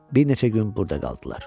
Bir neçə gün burda qaldılar.